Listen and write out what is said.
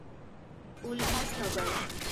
Ulhasnagar